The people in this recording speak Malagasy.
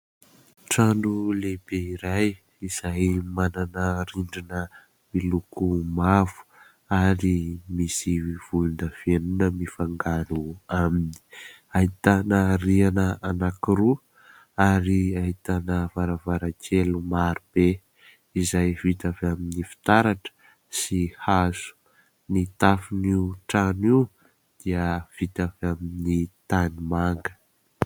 Trano lehibe iray izay manana rindrina miloko mavo, ary misy volondavenona mifangaro aminy. Ahitana rihana anankiroa ary ahitana varavarankely marobe, izay vita avy amin'ny fitaratra sy hazo. Ny tafon'io trano io dia vita avy amin'ny tanimanga.